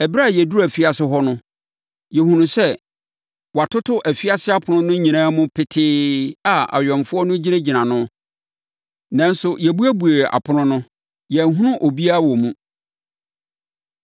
“Ɛberɛ a yɛduruu afiase hɔ no, yɛhunuu sɛ wɔatoto afiase apono no nyinaa mu petee a awɛmfoɔ no gyinagyina ano. Nanso, yɛbuebuee apono no no, yɛanhunu obiara wɔ mu.”